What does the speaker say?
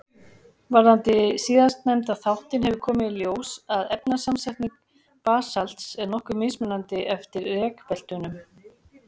Varðandi síðastnefnda þáttinn hefur komið í ljós að efnasamsetning basalts er nokkuð mismunandi eftir rekbeltunum.